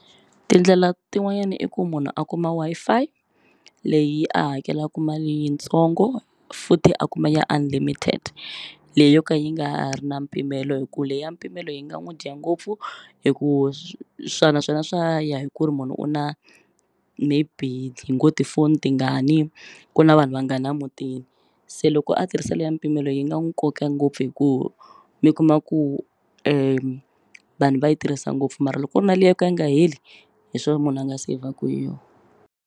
Tindlela tin'wanyani i ku munhu a kuma Wi-Fi leyi a hakelaku mali yintsongo futhi a kuma ya unlimited leyi yo ka yi nga ri na mpimelo hi ku leya mpimelo yi nga n'wu dya ngopfu hi ku swa naswona swa ya hi ku ri munhu u na maybe hi ngo tifoni tingani ku na vanhu vangani a mutini se loko a tirhisa leya mpimelo yi nga n'wu koka ngopfu hi ku mi kuma ku vanhu va yi tirhisa ngopfu mara loko ku ri na liya yo ka yi nga heli hi swo munhu a nga seyivheku hi yo.